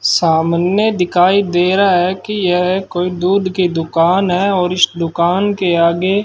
सामने दिखाई दे रहा है कि यह कोई दूध की दुकान है और इस दुकान के आगे --